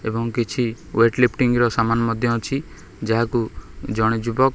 ଏବଂ କିଛି ୱେଟଲିଫ୍ଟିଂ ର ସାମାନ ମଧ୍ୟ ଅଛି ଯାହାକୁ ଜଣେ ଯୁବକ।